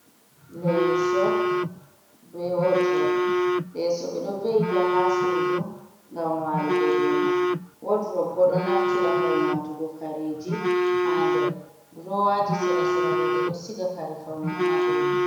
Leeso be wodurop. Leso ɓeɗo ve'ita ha sudu ngam walugo domai. wodurub bo ɗo naftira ngam watugo kareji ha nder durowaji sera seraɗo beɗo siga kare faune ha domai.